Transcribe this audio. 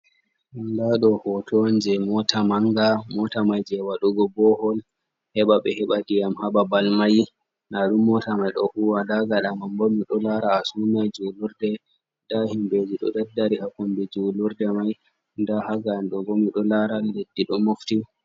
Ndaa ɗo hooto on jey moota mannga, moota may jey waɗugo boohol, heɓa ɓe heɓa ndiiyam haa babal may. Ndaa ɗum moota may ɗo huuwa, ndaa gaɗa man bo, himɓe ɗo laara a sunna juulurde. Ndaa himɓeji ɗo daddari haa kombi juulurde may. Ndaa haa ga'en ɗo bo, mi ɗon laara leddi ɗon mofti.